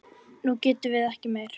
Nú getum við ekki meir.